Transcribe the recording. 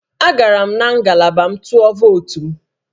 Agara m na ngalaba m ka m tụọ votu m